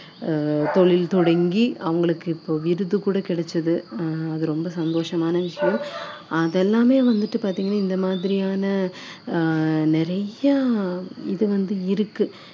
ஆஹ் தொழில் தொடங்கி அவங்களுக்கு இப்போ விருது கூட கிடைச்சது அது ரொம்ப சந்தோஷமான விஷயம் அதெல்லாமே வந்துட்டு பார்த்தீங்கன்னா இந்த மாதிரியான ஆஹ் நிறையா இது வந்து இருக்கு